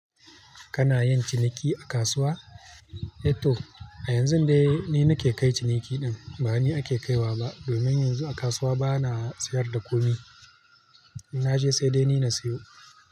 Kana yin ciniki a kasuwa? Eto a yanzun dai ni nake kai ciniki ɗin ba ni ake kaiwa ba. Domin yanzu a kasuwa bana sayar da komi. Na je sai dai ni na sayo.